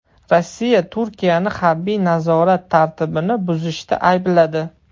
Rossiya Turkiyani harbiy nazorat tartibini buzishda aybladi.